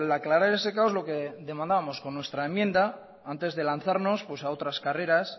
aclarar ese caos lo que demandábamos con nuestra enmienda antes de lanzarnos a otras carreras